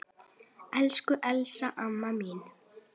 Elsku Elsa amma mín.